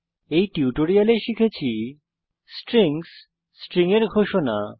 এই টিউটোরিয়াল আমরা শিখেছি স্ট্রিংস স্ট্রিং এর ঘোষণা